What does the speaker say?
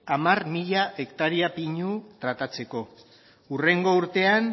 hamar mila hektarea pinu tratatzeko hurrengo urtean